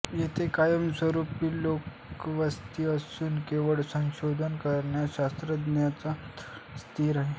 येथे कायमस्वरूपी लोकवस्ती नसून केवळ संशोधन करणाऱ्या शास्त्रज्ञांचा तळ स्थित आहे